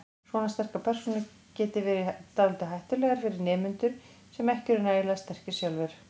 Svona sterkar persónur geti verið dálítið hættulegar fyrir nemendur sem ekki eru nægilega sterkir sjálfir.